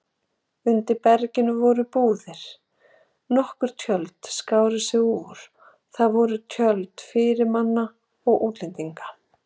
Undir berginu voru búðir, nokkur tjöld skáru sig úr, það voru tjöld fyrirmanna og útlendinga.